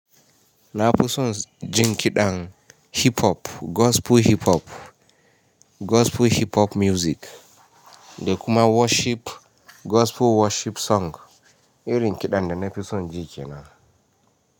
Na fi son jin kiɗan hip hop, gospel hip hop, gospel hip hop music da kuma worship gospel worship song irin kiɗan da na fi son ji kenan.